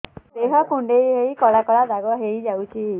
ଦେହ କୁଣ୍ଡେଇ ହେଇ କଳା କଳା ଦାଗ ହେଇଯାଉଛି